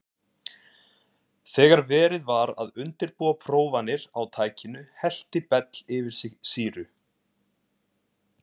Þegar verið var að undirbúa prófanir á tækinu hellti Bell yfir sig sýru.